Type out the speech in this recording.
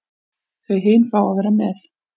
Þau hin fá að vera með.